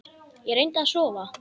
Ég reyndi að sofa.